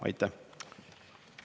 Aitäh!